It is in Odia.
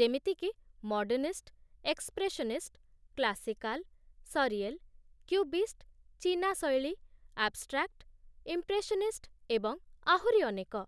ଯେମିତିକି modernist, expressionist, classical, surreal, cubist, ଚୀନା ଶୈଳୀ, ଆବ୍‌ଷ୍ଟ୍ରାକ୍ଟ, ଇମ୍ପ୍ରେସନିଷ୍ଟ ଏବଂ ଆହୁରି ଅନେକ